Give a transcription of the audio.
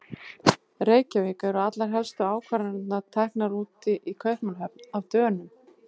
Reykjavík, eru allar helstu ákvarðanir teknar úti í Kaupmannahöfn- af Dönum.